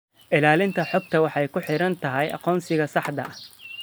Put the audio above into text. Ilaalinta xogta waxay ku xiran tahay aqoonsiga saxda ah.